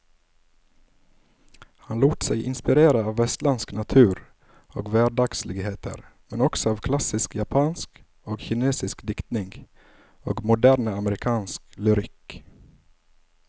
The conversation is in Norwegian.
Han lot seg inspirere av vestlandsk natur og hverdagsligheter, men også av klassisk japansk og kinesisk diktning og moderne amerikansk lyrikk.